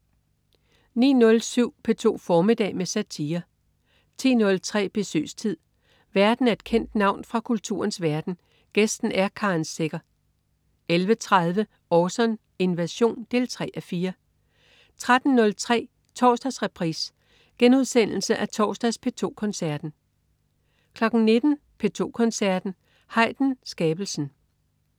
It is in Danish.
09.07 P2 formiddag med satire 10.03 Besøgstid. Værten er et kendt navn fra kulturens verden, gæsten er Karen Secher 11.30 Orson: Invasion 3:4 13.03 Torsdagsreprise. Genudsendelse af torsdags P2 Koncerten 19.00 P2 Koncerten. Haydn: Skabelsen